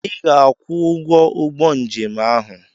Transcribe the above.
Ị ga-akwụ ụgwọ ụgbọ njem ahụ!